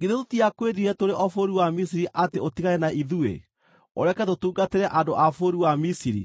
Githĩ tũtiakwĩrire tũrĩ o bũrũri wa Misiri atĩ ũtigane na ithuĩ, ũreke tũtungatĩre andũ a bũrũri wa Misiri?